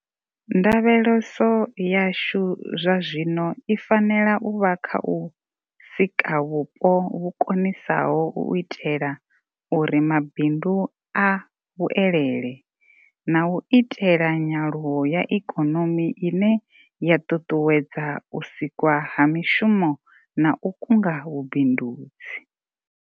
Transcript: Ndavheleso yashu zwazwino i fanela u vha kha u sika vhupo vhu konisaho u itela uri mabindu a vhuelele, na u itela nyaluwo ya ikonomi ine ya ṱuṱuwedza u sikwa ha mishumo na u kunga vhu bindudzi.